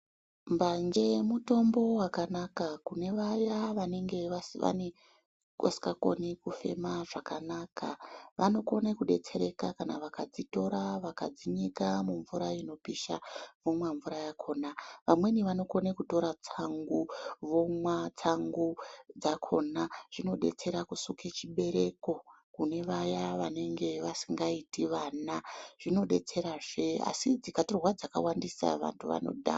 Mbanje mutombo wakanaka, kune vaya vanenge vanenge vasingakoni kufema zvakanaka. Vamweni vanokona kutora kudetsereka kana akadzitora vakadzinyika mumvura inopisha vomwa mvura yakhona. Vamweni vanokona kutora tsangu vomwa tsangu dzakhona. Zvinodetsera kusuke chibereko kune vaya vanenge vasikaiti vana .Asi dzikatorwa dzakawandisa vantu vanodhakwa.